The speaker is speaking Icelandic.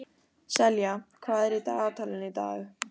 Selja, hvað er í dagatalinu í dag?